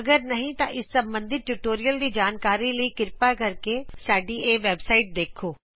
ਅਗਰ ਨਹੀ ਤਾ ਇਸ ਸਭੰਦਿਤ ਟਯੂਟੋਰਿਅਲ ਦੀ ਜਾਣਕਾਰੀ ਲਈ ਕ੍ਰਿਪਾ ਸਾਡੀ ਵੈਬਸਾਇਡ httpspoken tutorialorg ਦੇਖੋਂ